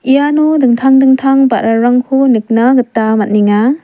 iano dingtang dingtang ba·rarangko nikna gita man·enga.